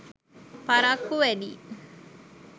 පරක්කු වැඩියි.